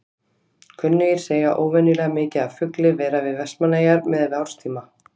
Kunnugir segja óvenjulega mikið af fugli vera við Vestmannaeyjar miðað við árstíma.